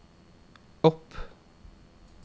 opp